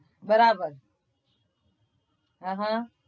બરાબર